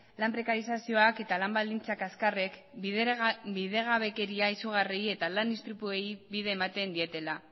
lan prekarizazioak eta lan baldintza kaxkarrek bidegabekeria izugarriei eta lan istripuei bide ematen dietela